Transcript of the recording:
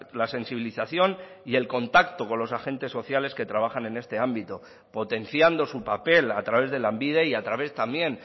la sensibilización y el contacto con los agentes sociales que trabajan en este ámbito potenciando su papel a través de lanbide y a través también